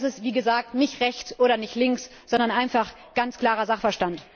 Das ist, wie gesagt, nicht rechts oder links, sondern einfach ganz klarer Sachverstand.